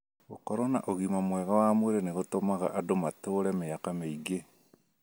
Gũkorũo na ũgima mwega wa mwĩrĩ nĩ gũtũmaga andũ matũũre mĩaka mĩingĩ.